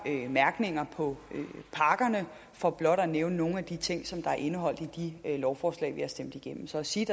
mærkater på pakkerne for blot at nævne nogle af de ting som er indeholdt i de lovforslag vi har stemt igennem så at sige